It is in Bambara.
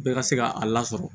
Bɛɛ ka se ka a lasɔrɔ